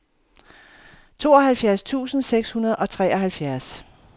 tooghalvtreds tusind seks hundrede og treoghalvfjerds